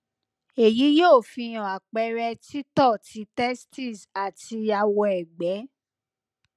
eyi yoo fi hàn àpẹrẹ tìtọ ti testis àti awọẹgbẹ